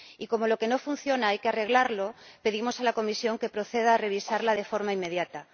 Y, como lo que no funciona hay que arreglarlo, pedimos a la Comisión que proceda a revisarla de forma inmediata.